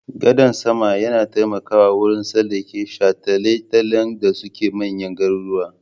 Gadan sama yana taimakawa wurin tsallake shataletalen da suke manyan garuruwa.